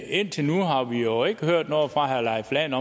indtil nu har vi jo ikke hørt noget fra herre leif lahn